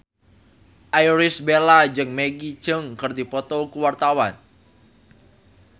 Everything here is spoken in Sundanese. Irish Bella jeung Maggie Cheung keur dipoto ku wartawan